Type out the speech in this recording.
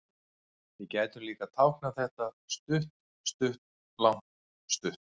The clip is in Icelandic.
Við gætum líka táknað þetta stutt-stutt-langt-stutt.